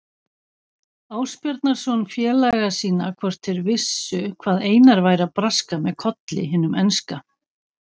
Ásbjarnarson félaga sína hvort þeir vissu hvað Einar væri að braska með Kolli hinum enska.